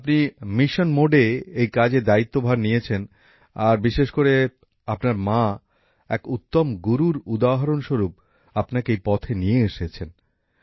আপনি অগ্রাধিকারের ভিত্তিতে এই কাজের দায়িত্বভার নিয়েছেন আর বিশেষ করে আপনার মা এক উত্তম গুরুর উদাহরণস্বরূপ আপনাকে এই পথে নিয়ে এসেছেন